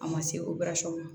A ma se ma